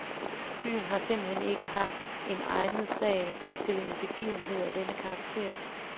Byen har simpelthen ikke haft en egnet sal til en begivenhed af den karakter.